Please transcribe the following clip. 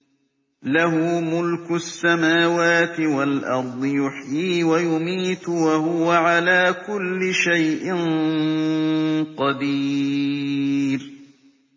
لَهُ مُلْكُ السَّمَاوَاتِ وَالْأَرْضِ ۖ يُحْيِي وَيُمِيتُ ۖ وَهُوَ عَلَىٰ كُلِّ شَيْءٍ قَدِيرٌ